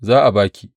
Za a ba ki.